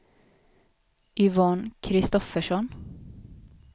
Yvonne Kristoffersson